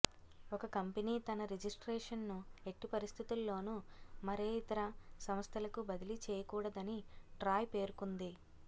ఒక కంపెనీ తన రిజిస్ట్రేషన్ను ఎట్టి పరిస్థితుల్లోనూ మరేఇతర సంస్థలకు బదిలీ చేయకూడదని ట్రాయ్ పేర్కొంది